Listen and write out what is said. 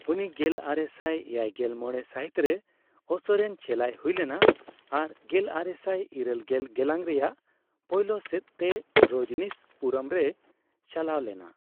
ᱩᱱᱤ ᱜᱮᱞᱟᱨᱮᱥᱟᱭ ᱮᱭᱟᱭᱜᱮᱞ ᱢᱚᱲᱮ ᱥᱟᱹᱦᱤᱛᱨᱮ ᱳᱥᱳᱨᱮᱱ ᱪᱮᱞᱟᱭ ᱦᱩᱭᱞᱮᱱᱟ ᱟᱨ ᱜᱮᱞᱟᱨᱮᱥᱟᱭ ᱤᱨᱟᱹᱞᱜᱮᱞ ᱜᱮᱞᱟᱝ ᱨᱮᱭᱟᱜ ᱯᱳᱭᱞᱳ ᱥᱮᱫ ᱛᱮ ᱨᱚᱡᱽᱱᱤᱥ ᱯᱩᱨᱚᱢ ᱨᱮᱭ ᱪᱟᱞᱟᱣ ᱞᱮᱱᱟ ᱾